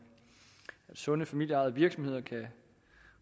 at sunde familieejede virksomheder kan